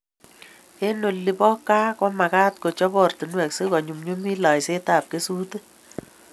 Eng olin bo kaa ko magat kechop oratinwek si ko nyumnyumitu laiset ab kesutik